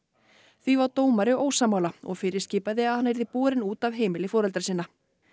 því var dómari ósammála og fyrirskipaði að hann yrði borinn út af heimili foreldra sinna